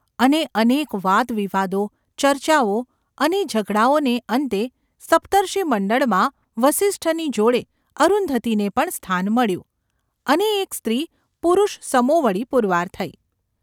અને અનેક વાદવિવાદો, ચર્ચાઓ અને ઝઘડાઓને અંતે સપ્તર્ષિમંડળમાં ​ વસિષ્ઠની જોડે, અરુંધતીને પણ સ્થાન મળ્યું, અને એક સ્ત્રી પુરૂષસમોવડી પુરવાર થઈ.